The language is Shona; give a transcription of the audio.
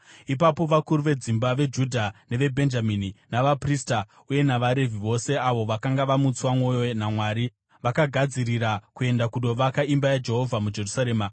Ipapo vakuru vedzimba veJudha neveBhenjamini, navaprista uye navaRevhi, vose avo vakanga vamutswa mwoyo naMwari, vakagadzirira kuenda kundovaka imba yaJehovha muJerusarema.